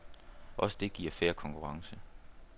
Også det giver fair konkurrence.